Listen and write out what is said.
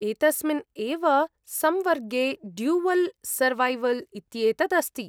एतस्मिन् एव संवर्गे ड्यूवल् सर्वैवल् इत्येतत् अस्ति।